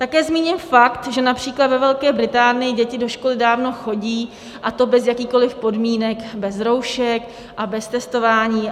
Také zmíním fakt, že například ve Velké Británii děti do školy dávno chodí, a to bez jakýchkoliv podmínek, bez roušek a bez testování.